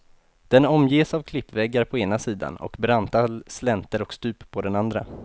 Den omges av klippväggar på ena sidan och branta slänter och stup på den andra.